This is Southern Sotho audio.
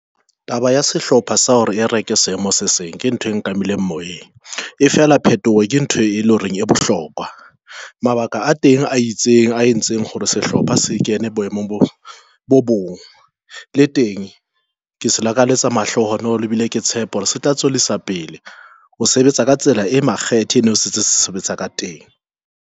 Taba ya sehlopha sa hore e reke seemo se seng ke ntho e nka mmileng moyeng, e fela phetoho ke ntho e leng horeng e bohlokwa. Mabaka a teng a itseng, a entseng hore sehlopha se kene boemong bo bong le teng ke se lakalletsa mahlohonolo e bile ke tshepo, se tla tswellisa pele ho sebetsa ka tsela e makgethe sentse sebetsa ka teng.